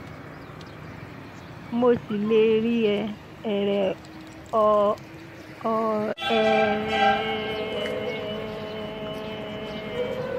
mo ṣì lè rí ẹ̀ ẹ̀rẹ́ ọ̀ ọ̀ ọ̀ ẹ̀ ẹ̀